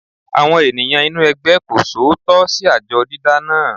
Àwọn ènìyàn inú ẹgbẹ́ kò ṣòótọ́ sí àjọ dídá náà.